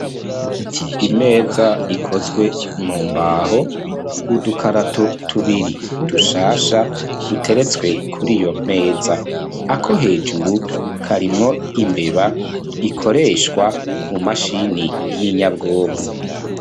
Imeza ikozwe mu mbaho, udukarato tubiri dushasha duteretswe kuri iyo meza, ako hejuru karimwo imbeba ikoreshwa ku mashini y'inyabwonko.